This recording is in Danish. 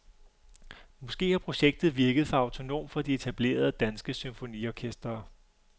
Måske har projektet virket for autonomt for de etablerede, danske symfoniorkestre.